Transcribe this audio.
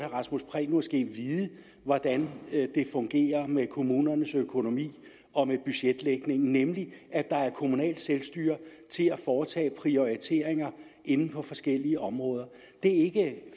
rasmus prehn måske vide hvordan det fungerer med kommunernes økonomi og med budgetlægningen nemlig at der er kommunalt selvstyre til at foretage prioriteringer inden for forskellige områder det er ikke